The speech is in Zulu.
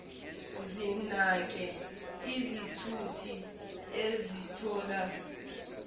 zinake izithuthi ezithola